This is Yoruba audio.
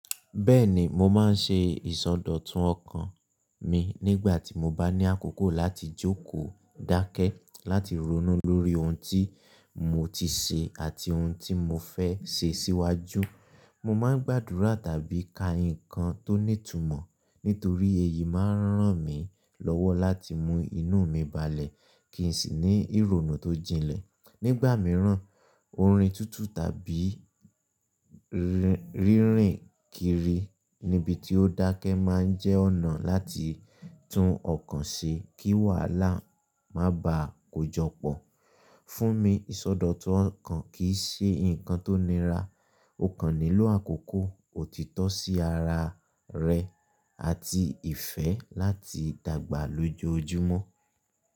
Bẹ́ẹ̀ni, mo máa ń ṣe ìsọdọ̀tun ọkàn mi nígbà tí mo bá ní àkókò láti jókòó dáákẹ́ láti ronú lórí ohun tí mo ti ṣe àti ohun tí mo fẹ́ ṣe síwájú. Mo máa ń gbàdúrà tàbí ka ǹkan tó ní ìtumọ̀ nítorí èyí máa ń ràn mí lọ́wọ́ láti mú inú mi balẹ̀ kí n sì ní ìrònú tó jinlẹ̀. Nígbà mìíràn, orin tuntun tàbí rírin kiri níbi tí ó dákẹ́ máa ń jẹ́ ọ̀nà láti tun ọkàn ṣe kí wàhálà má bà á kojọpọ̀. Fún mi, ìsọdọ̀tun ọkàn kì í ṣe ǹkan tó nira; ó kàn nílò àkókò, òtítọ́ sí ara rẹ, àti ìfẹ́ láti dàgbà lójú ojúmọ́